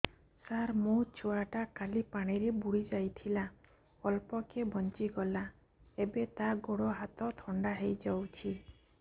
ସାର ମୋ ଛୁଆ ଟା କାଲି ପାଣି ରେ ବୁଡି ଯାଇଥିଲା ଅଳ୍ପ କି ବଞ୍ଚି ଗଲା ଏବେ ତା ଗୋଡ଼ ହାତ ଥଣ୍ଡା ହେଇଯାଉଛି